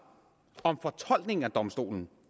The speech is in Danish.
fortolkningen af domstolens